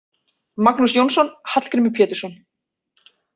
Magnús Jónsson: Hallgrímur Pétursson.